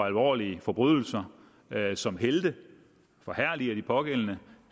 alvorlige forbrydelser som helte forherliger de pågældende